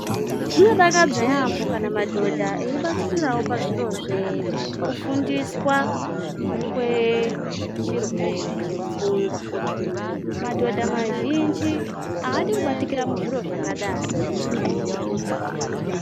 Zvinodakadza yaambo kana madhodha eibatikirawo pazviro zvekufundiswa kwechirwere chepfungwa. Madhodha mazhinji aadi kubatikira muzviro zvakadai.